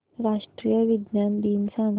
राष्ट्रीय विज्ञान दिन सांगा